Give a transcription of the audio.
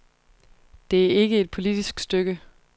Det er ikke et politisk stykke.